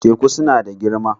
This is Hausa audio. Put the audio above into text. Teku suna da girma.